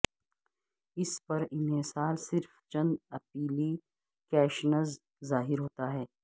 اس پر انحصار صرف چند ایپلی کیشنز ظاہر ہوتا ہے